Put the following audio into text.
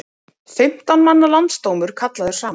Fimmtán manna landsdómur kallaður saman